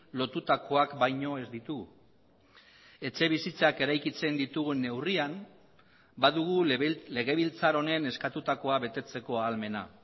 lotutakoak baino ez ditu etxebizitzak eraikitzen ditugun neurrian badugu legebiltzar honen eskatutakoa betetzeko ahalmena